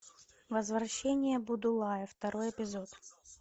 возвращение будулая второй эпизод